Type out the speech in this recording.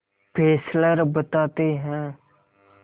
Fessler बताते हैं